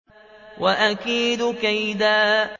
وَأَكِيدُ كَيْدًا